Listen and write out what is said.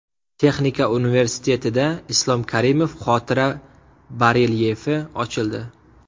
Texnika universitetida Islom Karimov xotira barelyefi ochildi .